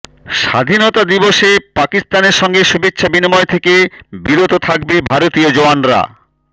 স্বাধীনতা দিবসে পাকিস্তানের সঙ্গে শুভেচ্ছা বিনিময় থেকে বিরত থাকবে ভারতীয় জওয়ানরা